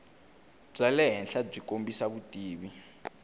bya le henhlabyi kombisa vutivi